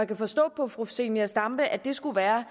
kan forstå på fru zenia stampe at det skulle være